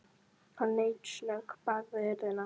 Hann leit snöggt bak við hurðina.